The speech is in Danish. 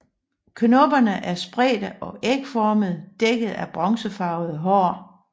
Knopperne er spredte og ægformede dækket af bronzefarvede hår